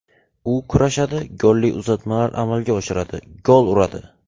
U kurashadi, golli uzatmalar amalga oshiradi, gol uradi.